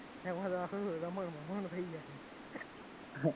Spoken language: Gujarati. એમાં નાખોતો રમણ ભમણ થઈ જાય